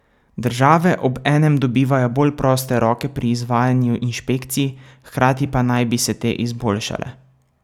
Države obenem dobivajo bolj proste roke pri izvajanju inšpekcij, hkrati pa naj bi se te izboljšale.